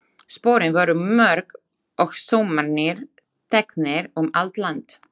Sporin voru mörg- og saumarnir teknir um allt land.